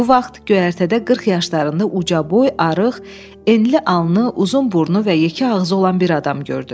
Bu vaxt göyərtədə 40 yaşlarında ucaboy, arıq, enli alnı, uzun burnu və yekə ağzı olan bir adam gördü.